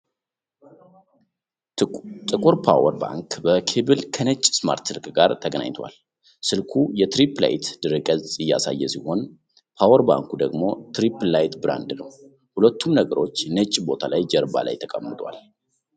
ጥቁር ፖወር ባንክ በኬብል ከነጭ ስማርት ስልክ ጋር ተገናኝቷል። ስልኩ የትሪፕ ላይት ድረ-ገጽ እያሳየ ሲሆን፣ ፖወር ባንኩ ደግሞ ትሪፕ ላይት ብራንድ ነው። ሁለቱም ነገሮች ነጭ ቦታ ላይ ጀርባ ላይ ተቀምጠዋል።